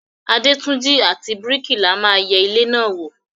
Adétúnjí àti bríkìlà ma yẹ ilé náà wò.